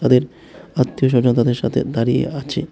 আত্মীয় স্বজন তাদের সাথে দাঁড়িয়ে আছে।